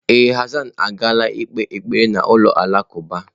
Ee, Hassan agaala ikpe ekpere na ụlọ alakụba.